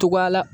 Togoya la